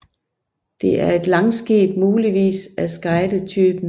Det er et langskib muligvis af skeidetypen